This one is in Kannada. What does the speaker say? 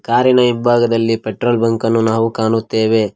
ಕಾರಿನ ಹಿಂಭಾಗದಲ್ಲಿ ಪೆಟ್ರೋಲ್ ಬಂಕನ್ನು ನಾವು ಕಾಣುತ್ತೇವೆ.